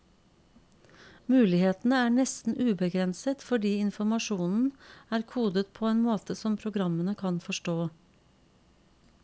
Mulighetene er nesten ubegrenset, fordi informasjonen er kodet på en måte som programmene kan forstå.